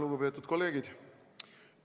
Lugupeetud kolleegid!